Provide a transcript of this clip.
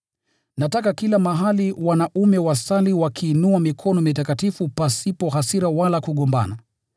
Nataka kila mahali wanaume wasali wakiinua mikono mitakatifu pasipo hasira wala kugombana.